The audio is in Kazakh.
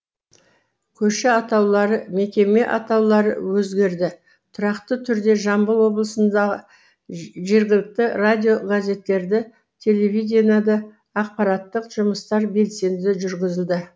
көше атаулары мекеме атаулары өзгерді тұрақты түрді жамбыл облысында жергілікті радио газеттерді телеведениеда аақпараттық жұмыстар белсенді жүргізілді